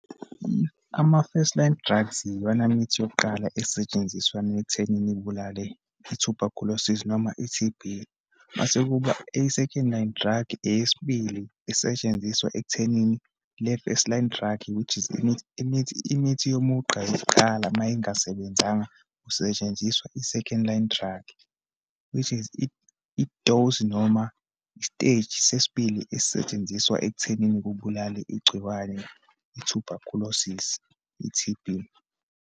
Ama-first line drugs iwona mithi yokuqala esetshenziswa nekuthenini ibulale i-tuberculosis, noma i-T_B. Uma sekuba i-second line drug, eyesibili isetshenziswa ekuthenini le first line drug, which is imithi, imithi, imithi yomugqa yokuqala uma ingasebenzanga kusetshenziswa i-second line drug, which is i-dose, noma i-stage sesibili esisetshenziswa ekuthenini kubulale igciwane, i-tuberculosis, i-T_B.